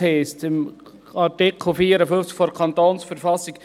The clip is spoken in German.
In Artikel 54 KV heisst es: